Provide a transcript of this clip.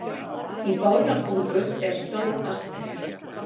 í bárðarbungu er stór askja